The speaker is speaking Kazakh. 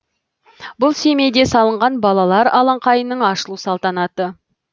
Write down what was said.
бұл семейде салынған балалар алаңқайының ашылу салтанаты